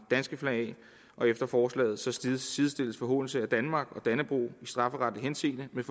danske flag af efter forslaget sidestilles sidestilles forhånelse af danmark og dannebrog i strafferetlig henseende med